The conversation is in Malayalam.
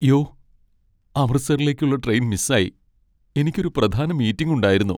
യ്യോ, അമൃത്സറിലേക്കുള്ള ട്രെയിൻ മിസ്സായി. എനിക്ക് ഒരു പ്രധാന മീറ്റിംഗ് ഉണ്ടായിരുന്നു.